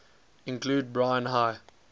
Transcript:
include brine high